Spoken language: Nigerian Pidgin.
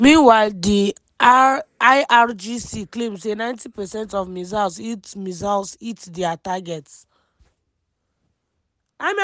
meanwhile di irgc claim say 90 percent of missiles hit missiles hit dia targets.